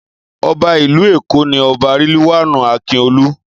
Ọba ìlú Èkó ni Ọba Riliwan Akiolu.